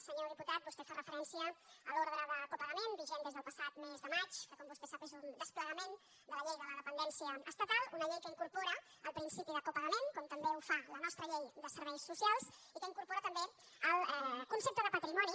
senyor diputat vostè fa referència a l’ordre de copagament vigent des del passat mes de maig que com vostè sap és un desplegament de la llei de la dependència estatal una llei que incorpora el principi de copagament com també ho fa la nostra llei de serveis socials i que incorpora també el concepte de patrimoni